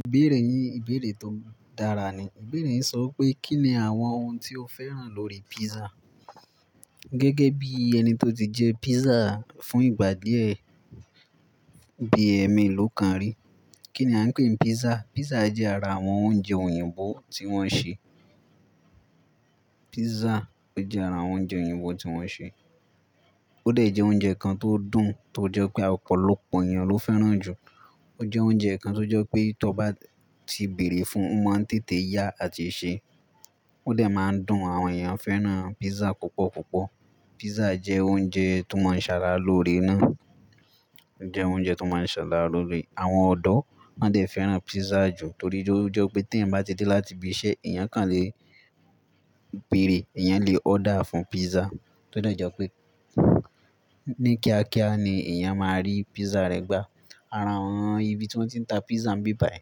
Ìbéèrè yín, ìbéèrè tó dára ni. Ìbéèrè yín sọ pé kí ni àwọn ohun tí o fẹ́ràn lórí pizza. Gẹ́gẹ́ bí ẹni tó ti jẹ pizza fún ìgbà díẹ̀ bí ème ló kàn rí. Kí ni a ń pè pizza? Pizza jẹ́ ara àwọn oúnjẹ òyìnbó tí wọ́n ṣe. Pizza ó jẹ́ ara àwọn oúnjẹ òyìnbó tí wọ́n ṣe. Ó dà jẹ́ oúnjẹ kan tó dùn, tó jẹ́ pé ọ̀pọ̀lọpọ̀ èèyàn ló fẹ́ràn jù. Ó jẹ́ oúnjẹ kan tó jẹ́ pé tó bá ti bèrè fún, o máa ń tètè yá àti se. Ó dà máa ń dùn àwọn èèyàn fẹ́ràn pizza púpọ̀ púpọ̀. Pizza jẹ́ oúnjẹ tó máa ń ṣara lóore ná. Jẹ́ oúnjẹ tó máa ń ṣara lóore. Àwọn ọ̀dọ́ wań dà fẹ́ràn pizza jù torí ó jẹ́ pé tí ẹ̀yin bá ti dé láti ibi iṣẹ́, èèyàn kàn lè bèrè, èèyàn lè order fún pizza. To de jẹ́ pé ní kíákíá ni èèyàn máa rí pizza rẹ̀ gbá. Ara àwọn ibi tí wọ́n ti ń ta pizza ni bíbàyè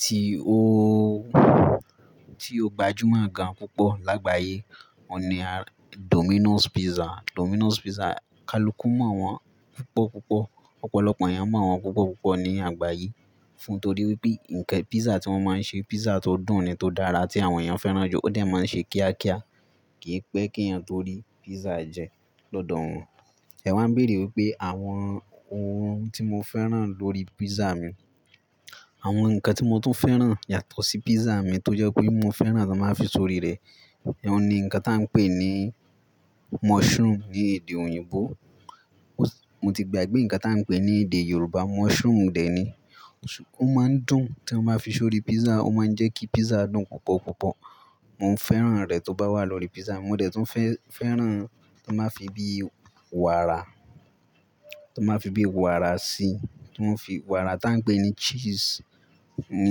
tí ó, tí ó gbajúmọ̀ gan púpọ̀ lágbàyé, òun ni Domino's Pizza. Domino's Pizza, kaluku mọ̀ wọ́n púpọ̀ púpọ̀. Ọ̀pọ̀lọpọ̀ èèyàn mọ̀ wọ́n púpọ̀ púpọ̀ ní àgbáyé fún torí pé nǹkan pizza tí wọ́n máa ń ṣe, pizza tó dùn ni, tó dára tí àwọn èèyàn fẹ́ràn jù. Ó dà máa ń ṣe kíákíá, kì í pẹ́ kí èèyàn tó rí pizza jẹ lọ́dọ̀ wọn. Ẹ waa ń béèrè pé àwọn ohun tí mo fẹ́ràn lórí pizza mi. Àwọn nǹkan tí mo tún fẹ́ràn yàtọ̀ sí pizza mi tó jẹ́ pé mo fẹ́ràn tí wọ́n máa fi sori rẹ̀. Ẹ̀ ohun ni nǹkan tí a ń pè ní mushroom ní èdè òyìnbó. Mo ti gbàgbé nǹkan tí a ń pè ní èdè Yorùbá, mushroom dè ni. Ó máa ń dùn tí wọ́n bá fi sórí pizza, ó máa ń jẹ́ kí pizza dùn púpọ̀ púpọ̀. Mo ń fẹ́ràn rẹ̀ tí ó bá wà lórí pizza. Mo dà tí ń fẹ́-fẹ́ràn tí wọ́n máa fi bí wàrà, tí wọ́n máa fi bí wàrà sí, tí wọ́n fi wàrà tí a ń pè ní cheese ní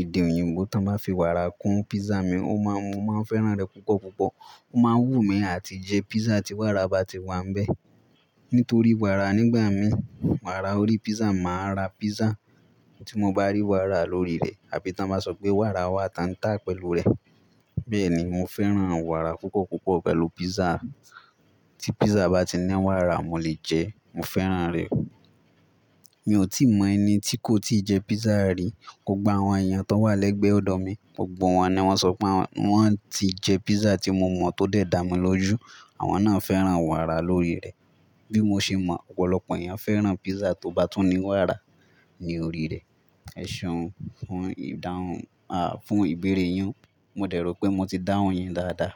èdè òyìnbó. Tí wọ́n bá fi wàrà kún pizza mi, ó má-mo máa ń fẹ́ràn rẹ̀ púpọ̀ púpọ̀. Ó máa wú mí àti jẹ pizza tí wàrà bá ti wà ń bẹ. Nítorí wàrà nígbà mí, wàrà orí pizza, mà á ra pizza tí mo bá rí wàrà lórí rẹ̀ àbí tí wọ́n bá sọ pé wàrà wà tan tà pẹ̀lú rẹ̀. Bẹ́ẹ̀ ni, mo fẹ́ràn wàrà púpọ̀ púpọ̀ pẹ̀lú pizza. Tí pizza bá ti ní wàrà, mo lè jẹ, mo fẹ́ràn rẹ̀. Mi ò tí mọ ẹni tí kò tí ì jẹ pizza rí. Gbogbo àwọn èèyàn tó wà lẹ́gbẹ̀ẹ́ ọ̀dọ̀ mi, gbogbo wọn ni wọ́n sọ pé wọ́n ti jẹ pizza tí mo mọ̀ tó dà mí lójú. Àwọn náà fẹ́ràn wàrà lórí rẹ̀. Bí mo ṣe mọ̀ ọ̀pọ̀lọpọ̀ èèyàn fẹ́ràn pizza tó bá tún ní wàrà ní orí rẹ̀. Ẹ̀ seun fun ìdáhùn, à, fún ìbéèrè yín. Mo de rò pé mo ti dáhùn yín dáadáa.